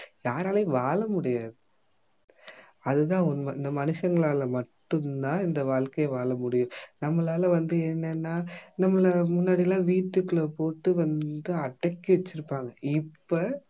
யாராலயும் வாழ முடியாது அது தான் உண்மை இந்த மனுஷங்களால மட்டும் தான் இந்த வாழ்க்கைய வாழமுடியும் நம்மளால வந்து என்னன்னா நம்மளை முன்னாடிலாம் வீட்டுக்குள்ள போட்டு வந்து அடக்கி வெச்சிருப்பாங்க இப்ப